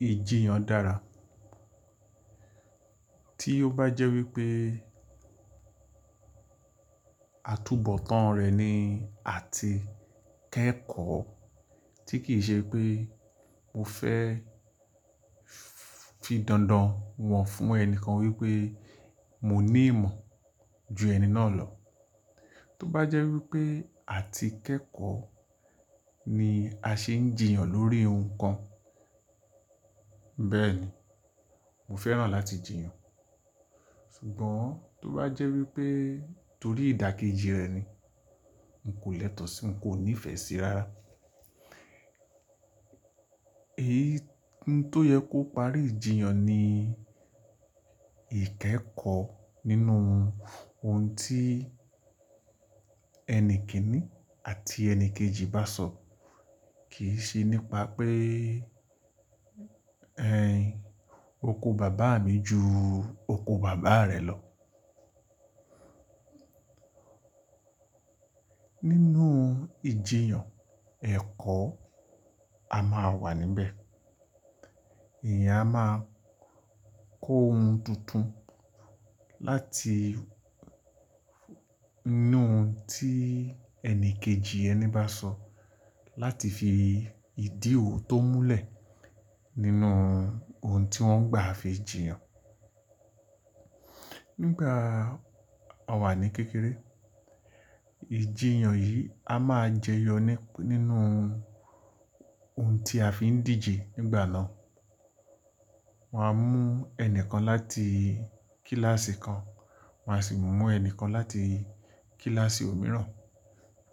Ìjiyàn dára. Tí ó bá jẹ́ wípé àtúnbọ̀tán rẹ̀ ni àtí kẹ̀kọ́, tí kì í ṣe pé mo fẹ́ fi dandan wọ̀n fún ẹni kan wípé mo ní ìmọ̀ ju ẹni náà lọ. Tó bá jẹ́ wípé àtí kẹ̀kọ́ ni a ṣe ń jìyàn lórí ohun kan. Bẹ́ẹ̀ ni, mo fẹ́ràn láti jìyàn. Ṣùgbọ́n tó bá jẹ́ wípé torí ìdàkejì rẹ̀ ni n kò lẹ́tọ̀ọ́ sí, n kò nífẹ̀ẹ́ síra. Èyí tó yẹ kó parí ijìyàn ni ìkẹ́kọ̀ọ́ nínú ohun tí ẹni kìn-ín àti ẹni kejì bá sọ̀, kì í ṣe nípa pé ẹ̀ Ẹ̀n, oko bàbá mi ju oko bàbá rẹ lọ. Nínú ìjiyàn ẹ̀kọ́ a máa wà níbẹ̀. Eeyan a máa kó ohun tuntun láti inú ohun tí ẹni kejì ẹni bá sọ, láti fi ìdí òtó múlẹ̀ nínú ohun tí wọ́n gbà fi jìyàn. Nígbà a wà ní kékeré, ìjiyàn yìí a máa jẹyọ nínú ohun tí a fi ń díje nígbà náà. Wọ́n á mú ẹni kan láti kíláàsì kan, wọ́n á sì mú ẹni kan láti kíláàsì òmíràn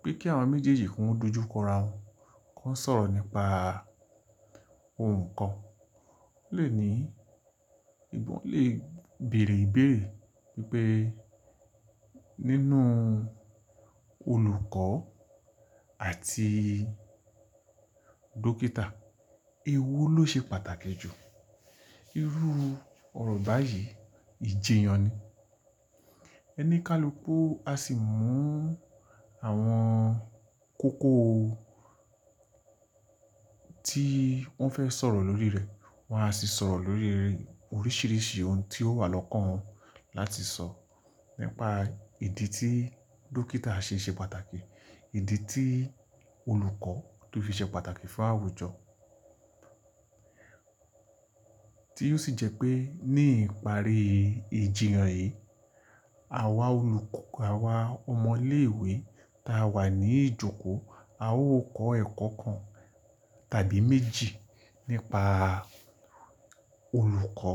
wípé kí àwọn méjèèjì ko dojuko ra wọn, ki won sọ̀rọ̀ nípa ohun kan. Ó lè ní, ìwo lè bèèrè ìbéèrè wípé nínú olùkọ́ àti dókítà, èwo ló ṣe pàtàkì jù? Irú ọ̀rọ̀ báyìí ìjiyàn ni. Oni kalùku a sì mú àwọn kókó tí wọ́n fẹ́ sọ̀rọ̀ lórí rẹ̀, wọ́n á sì sọ̀rọ̀ lórí oríṣìíríṣìí ohun tí ó wà lọ́kàn wọn láti sọ, nípa ìdí tí dókítà ṣe ṣe pàtàkì, ìdí tí olùkọ́ to fi ṣe pàtàkì fún àwùjọ. Tí ó sì jẹ́ pé ní ìparí ìjiyàn yìí, àwa ọmọ ilé ìwé ta wà ní ìjókòó, a ó kọ ẹ̀kọ́ kan tàbí méjì nípa olùkọ́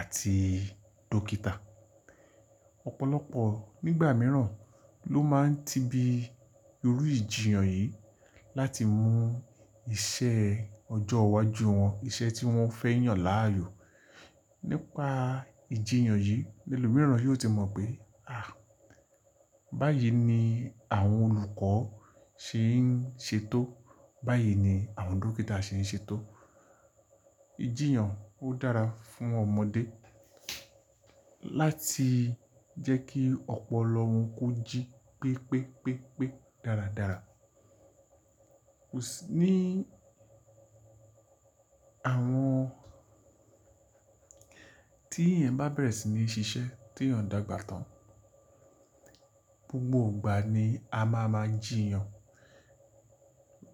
àti dókítà. Ọ̀pọ̀lọpọ̀ nígbà mìíràn ló máa ń tìbí irú ìjiyàn yìí láti mú iṣẹ́ ọjọ́ iwájú wọn, iṣẹ́ tí wọ́n fẹ́ yàn láàyò. Nípa ìjiyàn yìí, ẹlòmíràn yóò ti mọ̀ pé, à, báyìí ni àwọn olùkọ́ ṣe ń ṣe tó, báyìí ni àwọn dókítà ṣe ń ṣe tó. Ìjiyàn ó dára fún ọmọdé láti jẹ́ kí ọ̀pọ̀lọ won kó jí pẹ́ pẹ́ pẹ́ pẹ́ dára dára. Kò sí ní àwọn tí ẹ̀eyan bá bẹ̀rẹ̀ sí ní ṣiṣẹ́ tí yàn dàgbà tán. Gbogbo ìgbà ni a máa ń máa jìyàn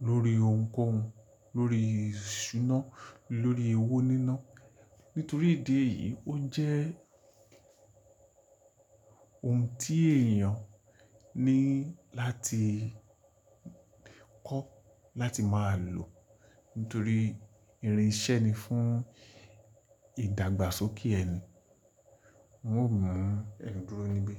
lórí ohunkóhun, lórí ìṣúná, lórí ewó níná. Nítorí ìdí èyí, ó jẹ́ ohun tí èèyàn ní láti kọ́ láti máa lò. Nítorí irin iṣẹ́ ni fún ìdàgbàsókè ẹni. N ó mú ẹ̀ dúró níbí.